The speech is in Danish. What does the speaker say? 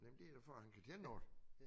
Jamen det er da for at han kan tjene noget